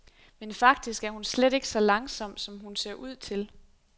Men faktisk er hun slet ikke så langsom, som hun ser ud til.